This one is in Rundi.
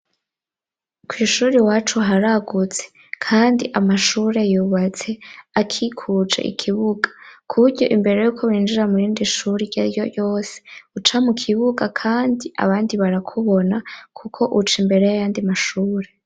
Kw'ishuri wacu haragutse kandi amashuri yubatse akikue ikibuga kuburyo imbere yuko binjira murindi shuri ryaryo yose uca mu kibuga kandi abandi barakubona kuko uca imbere yayandi mashuri.